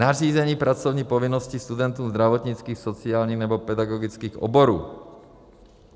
nařízení pracovní povinnosti studentům zdravotnických, sociálních nebo pedagogických oborů.